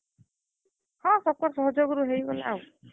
ହଁ, ସବ୍ କର୍ ସହଯୋଗରୁ ହେଇଗଲା ଆଉ।